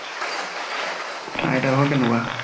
আইটা হ'ত কেনেকুৱা?